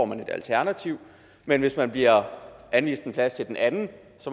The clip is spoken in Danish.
man et alternativ men hvis man bliver anvist en plads til den anden